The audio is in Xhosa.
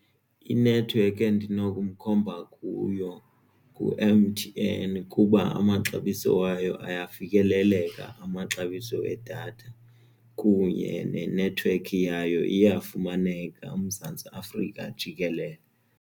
Inethiwekhi endinomkhomba kuyo ngu-M_T_N kuba amaxabiso wayo ayafikeleleka amaxabiso edatha kunye nenethiwekhi yayo iyafumaneka uMzantsi Afrika jikelele.